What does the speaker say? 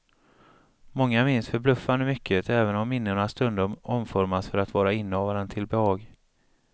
Många minns förbluffande mycket, även om minnena stundom omformas för att vara innehavaren till behag.